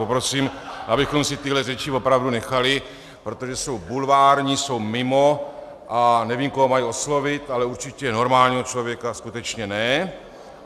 Poprosím, abychom si tyhle řeči opravdu nechali, protože jsou bulvární, jsou mimo a nevím, koho mají oslovit, ale určitě normálního člověka skutečně ne.